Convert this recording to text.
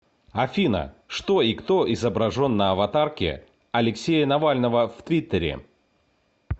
афина что и кто изображен на аватарке алексея навального в твиттере